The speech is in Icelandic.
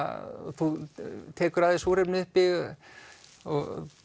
þú tekur af þér súrefnið og